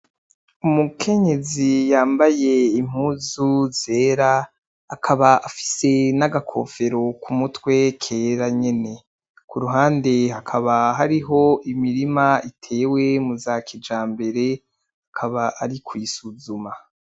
Umukenyezi yambaye impuzu zera akaba afise n'agakofero ku mutwe kera nyene, kuruhande hakaba hariho imirima itewe muzakijambere akaba ari kuyisuzuma.